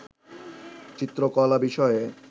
চিত্রকলা বিষয়ে